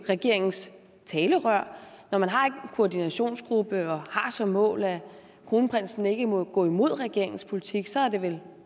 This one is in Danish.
regeringens talerør når man har en koordinationsgruppe og har som mål at kronprinsen ikke må gå imod regeringens politik så er det vel